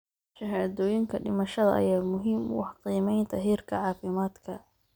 Shahaadooyinka dhimashada ayaa muhiim u ah qiimeynta heerka caafimaadka.